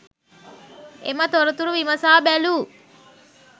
එම තොරතුරු විමසා බැලූ